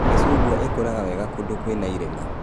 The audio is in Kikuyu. Mĩcungwa ĩkũraga wega kũndũ kwĩna irĩma